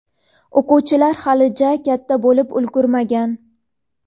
O‘quvchilar hali ja katta bo‘lib ulgurmagan.